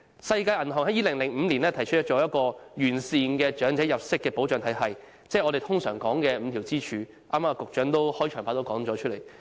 世界銀行在2005年提出一個完善的長者入息保障體系，即我們經常說的5根支柱，局長在剛才的開場白也曾提及。